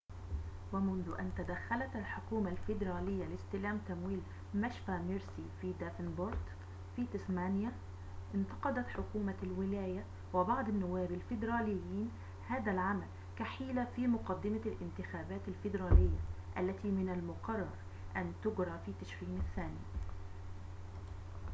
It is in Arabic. ومنذ أن تدخّلت الحكومة الفيدرالية لاستلام تمويل مشفى ميرسي في دافنبورت في تسمانيا انتقدت حكومة الولاية وبعض النواب الفيدراليين هذا العمل كحيلة في مقدمة الانتخابات الفيدرالية التي من المقرر أن تجرى في تشرين الثاني